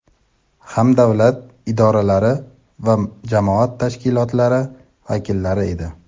ham davlat idoralari va jamoat tashkilotlari vakillari edi.